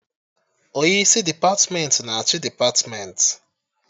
Onye isi depatmentị na achị depatmentị